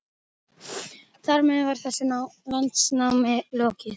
Þar með var þessu landnámi lokið.